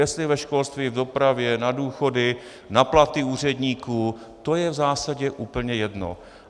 Jestli ve školství, v dopravě, na důchody, na platy úředníků, to je v zásadě úplně jedno.